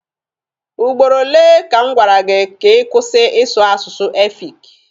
Ugboro ole ka m gwara gị ka ị kwụsị ịsụ asụsụ efik?